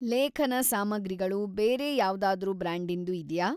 ಲೇಖನ ಸಾಮಗ್ರಿಗಳು ಬೇರೆ ಯಾವ್ದಾದ್ರೂ ಬ್ರ್ಯಾಂಡಿಂದು ಇದ್ಯಾ?